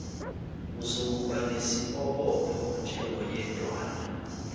uzokuba nesiobopho njengoyedwana